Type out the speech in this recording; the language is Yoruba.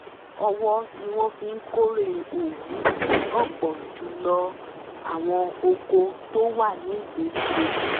ọwọ́ ni wọ́n fi kórè òwú ní ọ̀pọ̀ jù lọ àwọn oko tó wà ní ìgbèríko